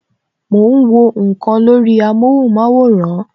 Mo ń wọ nkan lórí amóhùn maworan